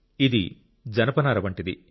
ఇది జనపనార వంటిది